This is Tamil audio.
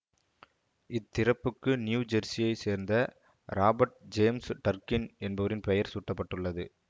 இத் திறப்புக்கு நியூ ஜெர்சியை சேர்ந்த ராபர்ட் ஜேம்சு டர்க்கின் என்பவரின் பெயர் சூட்ட பட்டுள்ளது